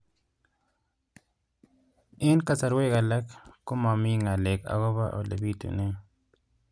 Eng' kasarwek alak ko mami ng'alek akopo ole pitunee